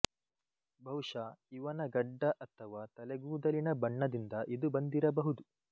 ಬಹುಶಃ ಇವನ ಗಡ್ಡ ಅಥವಾ ತಲೆಗೂದಲಿನ ಬಣ್ಣದಿಂದ ಇದು ಬಂದಿರಬಹುದು